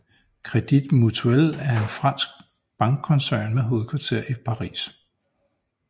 Crédit Mutuel er en fransk bankkoncern med hovedkvarter i Paris